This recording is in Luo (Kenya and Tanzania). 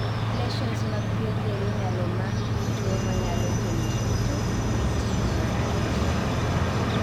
lesions mag pien del inyalo mak gi tuwo manyalo kelo tutu gi tik marach